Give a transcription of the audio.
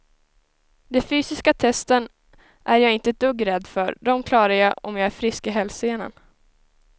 De fysiska testen är jag inte ett dugg rädd för, dem klarar jag om jag är frisk i hälsenan.